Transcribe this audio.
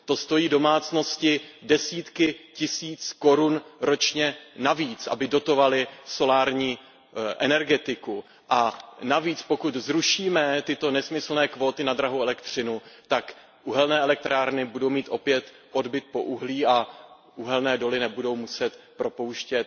To stojí domácnosti desítky tisíc korun ročně navíc, aby dotovaly solární energetiku a navíc, pokud zrušíme tyto nesmyslné kvóty na drahou elektřinu, tak uhelné elektrárny budou mít opět odbyt pro uhlí a uhelné doly nebudou muset propouštět